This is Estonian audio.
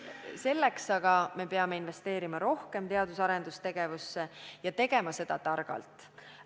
Selleks aga peame investeerima teadus- ja arendustegevusse ja tegema seda targalt.